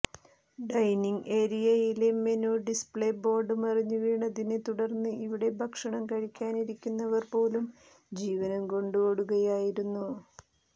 dining ഏരിയയിലെ menu display board മറിഞ്ഞ് വീണതിനെ തുടർന്ന് ഇവിടെ ഭക്ഷണം കഴിക്കാനിരുന്നവർ പോലും ജീവനും കൊണ്ട് ഓടുകയായിരുന്നു